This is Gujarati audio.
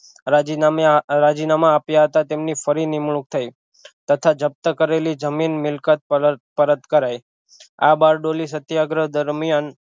રાજીનામયા રાજીનામાં આપ્યા હતા તેમની ફરી નિમણૂક થઈ તથા જપ્ત કરેલી જમીન મિલકત પર પરત કરાઇ આ બારડોલી સત્યાગ્રહ દરમિયાન